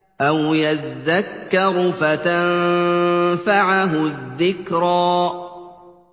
أَوْ يَذَّكَّرُ فَتَنفَعَهُ الذِّكْرَىٰ